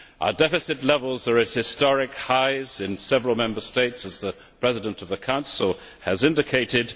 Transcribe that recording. Our deficit levels are at historic highs in several Member States, as the President of the Council has indicated.